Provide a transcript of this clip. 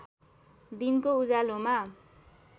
दिनको उज्यालोमा